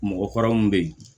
Mɔgɔ kɔrɔ mun bɛ ye